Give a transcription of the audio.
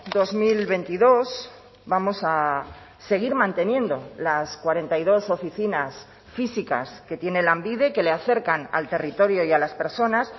dos mil veintidós vamos a seguir manteniendo las cuarenta y dos oficinas físicas que tiene lanbide que le acercan al territorio y a las personas